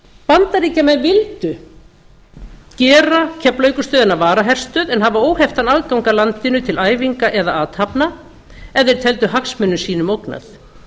bandaríkjamenn vildu gera keflavíkurstöðina að varaherstöð en hafa óheftan aðgang að landinu til æfinga eða athafna ef þeir teldu hagsmunum sínum ógnað